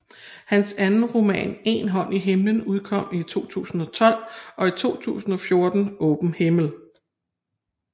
Hans anden roman En hånd i himlen udkom i 2012 og i 2014 Åben himmel